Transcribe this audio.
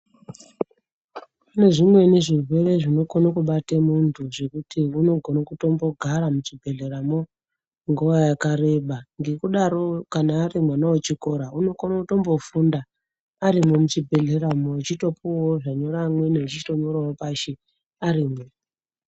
Kune zvimweni zvirwere zvinokona kubate muntu zvekuti unokona kutombogara muchibhedhleramwo nguwa yakareba ngekudaro kana ari mwana wechikora anokona kutombofunda arimwo muchibhedhleramwo achitopuwawo zvapuwe amweni achitonyorawo pashi arimwo.